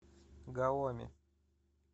гаоми